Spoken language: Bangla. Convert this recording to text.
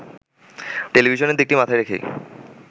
টেলিভিশনের দিকটি মাথায় রেখেই